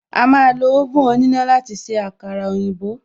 A máa lo oven òníná láti se àkàrà òyìnbó